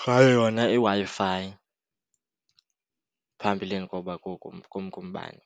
ngayo yona iWi-Fi phambilini koba kumke umbane.